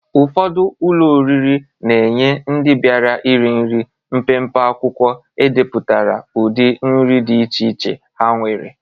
Ụfọdụ ụlọ oriri na-enye ndị biara iri nri mpempe akwụkwọ edepụtara udị nri dị iche iche ha nwere.